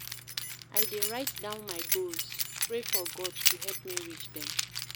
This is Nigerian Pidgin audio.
I dey write down my goals, pray for God to help me reach dem